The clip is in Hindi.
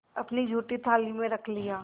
अपनी जूठी थाली में रख लिया